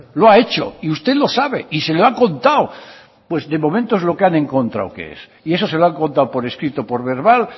lo ha hecho y usted lo sabe y se lo ha contado pues de momento es lo que han encontrado que es y eso se lo han contado por escrito por verbal